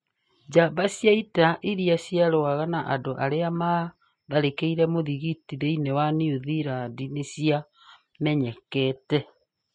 Njamba cia ita iria ciarũaga na andũ arĩa maatharĩkĩire muthikiti thĩinĩ wa New Zealand nĩ ciamenyekete